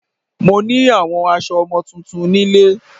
Mo ní àwọn aso ọmọ tuntun nílé